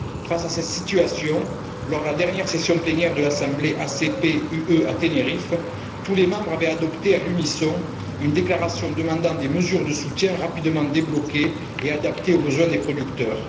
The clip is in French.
Face à cette situation, lors de la dernière session plénière de l'Assemblée ACP UE à Ténériffe, tous les membres avaient adopté à l'unisson une déclaration demandant des mesures de soutien rapidement débloquées et adaptées aux besoins des producteurs.